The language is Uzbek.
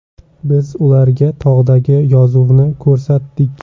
Biz ularga tog‘dagi yozuvni ko‘rsatdik.